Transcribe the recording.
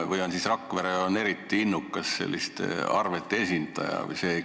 Või on Rakvere Linnavalitsus eriti innukas selliste arvete esitaja?